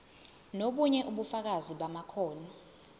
nobunye ubufakazi bamakhono